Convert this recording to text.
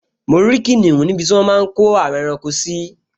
Mo rí kìnìún níbi tí wọ́n máa n kó àwọn ẹranko sí